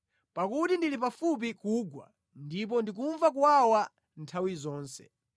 Pakuti ndili pafupi kugwa, ndipo ndikumva kuwawa nthawi zonse.